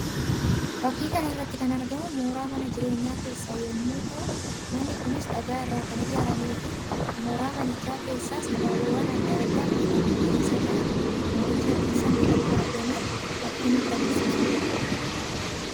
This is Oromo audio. Fakkii kana irratti kan argamu mooraa mana jireenya keessa yammuu ta'u; manni kunis dhagaa irraa kan ijaaramee fi mooraa manichaa keessas abaaboowwan addaa addaa bifaan magariisa ta'an mooricha keessatti akka argaman fakkii nutti agarsiisuudha.